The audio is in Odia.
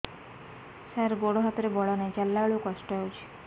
ସାର ଗୋଡୋ ହାତରେ ବଳ ନାହିଁ ଚାଲିଲା ବେଳକୁ କଷ୍ଟ ହେଉଛି